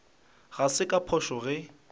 ga se ka phošo ge